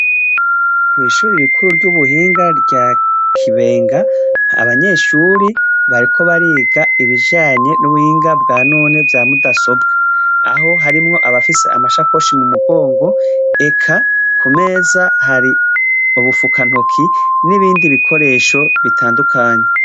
Kw'ishuri rikuru ry'ubuhinga rya kibenga abanyeshuri bariko bariga ibijanye n'uwinga bwa none vya mudasobwa, aho harimwo abafise amashakoshi mu mugongo eka ku meza hari ubufukantoki n'ibindi bikoresho bitandukanye.